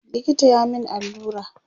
likita ya min allura